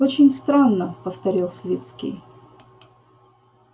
очень странно повторил свицкий